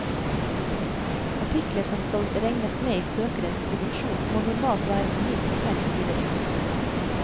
Artikler som skal regnes med i søkerens produksjon, må normalt være på minst fem sider tekst.